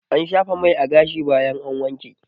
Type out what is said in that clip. Ana shafa mai a gashi bayan an wanke